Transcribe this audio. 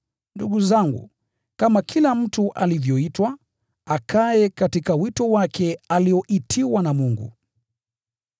Ndugu zangu, kama kila mtu alivyoitwa, akae katika wito wake alioitiwa na Mungu.